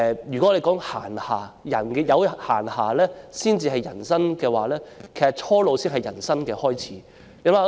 如果我們說人有閒暇才算有人生，其實初老才是人生的開始。